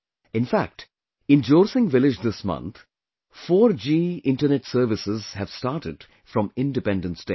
In fact, in Jorsing village this month, 4G internet services have started from Independence Day